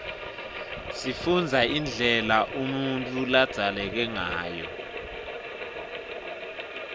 sifunbza indlela unutfu labzaleke ngayo